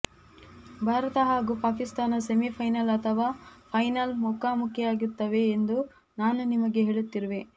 ಭಾರತ ಹಾಗೂ Pakistan semi final ಅಥವಾ final ಮುಖಾಮುಖಿಯಾಗುತ್ತವೆ ಎಂದು ನಾನು ನಿಮಗೆ ಹೇಳುತ್ತಿರುವೆ